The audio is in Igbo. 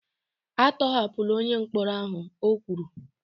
A tọhapụla onye mkpọrọ ahụ! O kwuru